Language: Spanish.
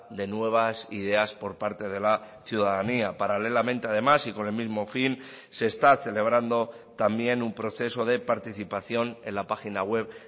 de nuevas ideas por parte de la ciudadanía paralelamente además y con el mismo fin se está celebrando también un proceso de participación en la página web